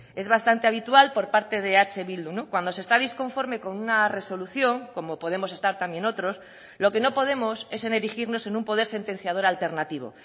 es bastante habitual por parte de eh bildu cuando se está disconforme con una resolución como podemos estar también otros lo que no podemos es en erigirnos en un poder sentenciador alternativo